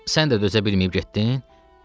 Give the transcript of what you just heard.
Sən də dözə bilməyib getdin?